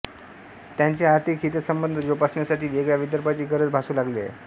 त्यांचे आर्थिक हितसंबंध जोपासण्यासाठी वेगळ्या विदर्भाची गरज भासु लागली आहे